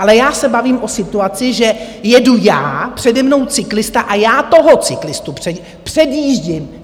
Ale já se bavím o situaci, že jedu já, přede mnou cyklista a já toho cyklistu předjíždím.